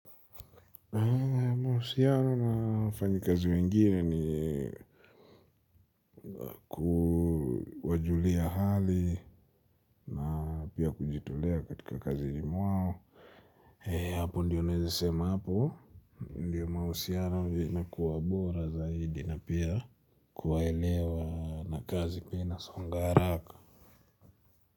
Mahusiano wafanyikazi wengine ni wajulia hali na pia kujitolea katika kazini mwao. Hapo ndia naweze sema hapo. Ndio mahusiano vinakuwa bora zaidi na pia kuwaelewa na kazi pia inasonga haraka.